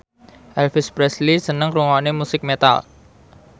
Elvis Presley seneng ngrungokne musik metal